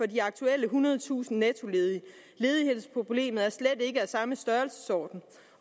de aktuelle ethundredetusind nettoledige ledighedsproblemet er slet ikke af samme størrelsesorden